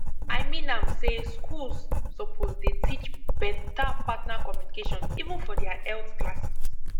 i mean am say schools suppose dey teach beta partner communication even for their health classes